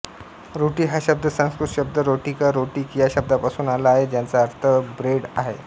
रोटी हा शब्द संस्कृत शब्द रोटिका रोटिक या शब्दापासून आला आहे ज्याचा अर्थ ब्रेड आहे